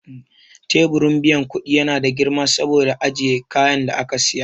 Teburin biyan kudi ya na da girma saboda ajiye kayan da aka siya.